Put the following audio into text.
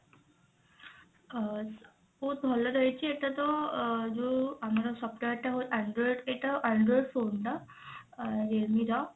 ଅ ବହୁତ ଭଲ ରହିଛି ଏଟା ତ ଅ ଯଉ ଆମର software ଟା ହୁଏ android ଏଟା android phone ନା realme ର?